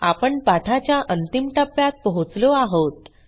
आपण पाठाच्या अंतिम टप्प्यात पोहोचलो आहोत